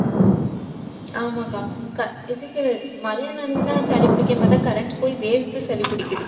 ஆமாக்கா க~ மழையில நனைஞ்சுதான், சளி பிடிக்கும்ன்னு பார்த்தா, current போய் வேர்த்து, சளி பிடிக்குதுக்கா